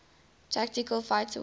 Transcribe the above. tactical fighter wing